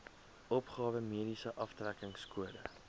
opgawe mediese aftrekkingskode